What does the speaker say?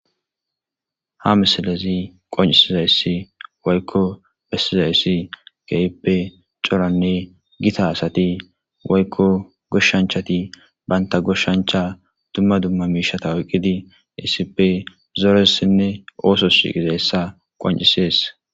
Ha misalezi qoncisizayssi waykko pessizayyssi keippe coranne gita asati waykko goshshanchati baynta goshshancha dumma dumma miishata oyqqidi iisippe zooressinne ooso siqizayssa qoncisees.